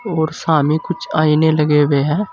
और सामने कुछ आईने लगे हुए हैं।